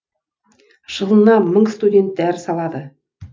жылына мың студент дәріс алады